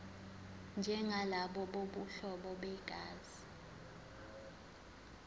njengalabo bobuhlobo begazi